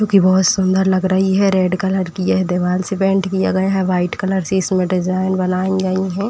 क्योंकि बोहोत सुंदर लग रही है। रेड कलर की यह दीवाल से पेंट किया गया है। व्हाइट कलर से इसमें डिजाइन बनाई गई है।